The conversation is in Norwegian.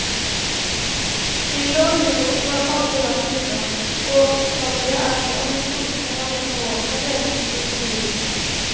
Smilet og humoren var aldri langt unna, og utallige er de anekdotene han gjennom årene delte med sine omgivelser.